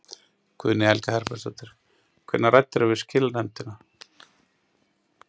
Guðný Helga Herbertsdóttir: Hvenær ræddirðu við skilanefndina?